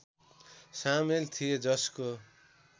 सामेल थिए जसको